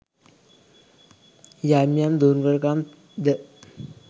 යම් යම් දුර්වළ කම් ද